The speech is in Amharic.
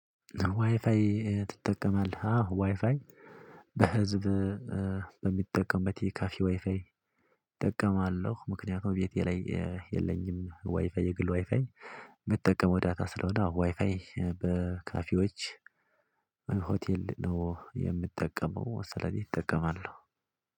ዋይፍይ ኤ ትጠቀማለህ? አሃ፣ ዋይፋይ በህዝብ እ በምጠቀምበት የካፌ ዋይፋይ እጠቀማለሁ። ምክንያቱም ቤቴ ላይ የ የለኝም። ዋይፋይ፣ የግል ዋይፋይ የምጠቀመው ዳታ ስለሆነ፣ ዋይፋይ በካፌዎች ሆቴል ነው የምጠቀመው፣ ስለዚህ እጠቀማለሁ።